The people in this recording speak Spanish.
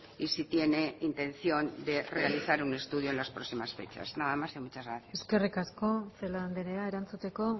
y si tiene intención de realizar un estudio en las próximas fechas nada más y muchas gracias eskerrik asko celaá andrea erantzuteko